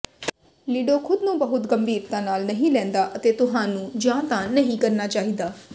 ਲਿਡੋ ਖੁਦ ਨੂੰ ਬਹੁਤ ਗੰਭੀਰਤਾ ਨਾਲ ਨਹੀਂ ਲੈਂਦਾ ਅਤੇ ਤੁਹਾਨੂੰ ਜਾਂ ਤਾਂ ਨਹੀਂ ਕਰਨਾ ਚਾਹੀਦਾ